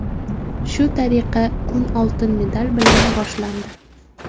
Shu tariqa kun oltin medal bilan boshlandi.